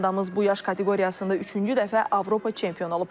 Komandamız bu yaş kateqoriyasında üçüncü dəfə Avropa çempionu olub.